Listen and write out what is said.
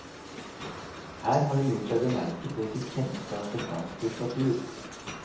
Her har hun gjort seg bemerket ved sitt kjennskap til fransk litteratur.